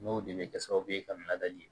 N'o de bɛ kɛ sababu ye ka laadali